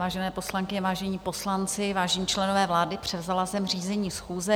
Vážené poslankyně, vážení poslanci, vážení členové vlády, převzala jsem řízení schůze.